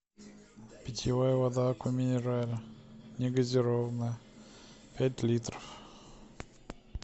питьевая вода аква минерале негазированная пять литров